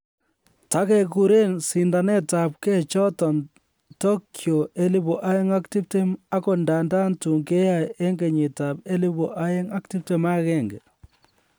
Tagekuren sindanetab gee choton Tokyo 2020, agot ndandan tun keyoe en kenyitab 2021